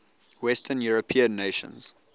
western european nations